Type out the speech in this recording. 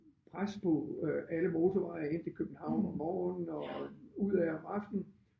Pres på øh alle motorveje ind til København om morgenen og ud ad om aftenen